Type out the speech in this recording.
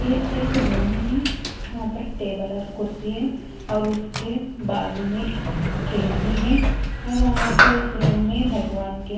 ये एक रूम है यहां पर टेबल और कुर्सी है और उसके बाजू में खिड़की हैं और वहां पर उस रूम में भगवान के --